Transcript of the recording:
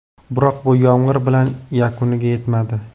Biroq bu yomg‘ir bilan yakuniga yetmadi.